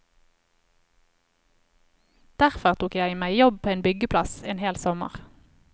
Derfor tok jeg meg jobb på en byggeplass en hel sommer.